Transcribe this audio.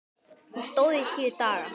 Hún stóð í tíu daga.